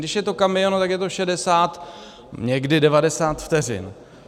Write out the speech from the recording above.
Když je to kamion, tak je to 60, někdy 90 vteřin.